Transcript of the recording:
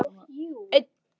Ég var að raða þessu